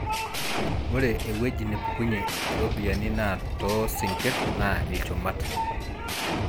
ore ewueji nepukunye iropyiani naa too sinkir naa ilchumat.